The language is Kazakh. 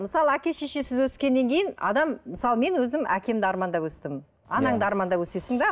мысалы әке шешесіз өскеннен кейін адам мысалы мен өзім әкемді армандап өстім анаңды армандап өсесің де